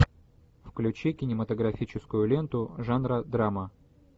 включи кинематографическую ленту жанра драма